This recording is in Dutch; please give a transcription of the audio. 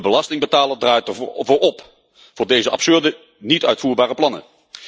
De belastingbetaler draait op voor deze absurde, niet uitvoerbare plannen.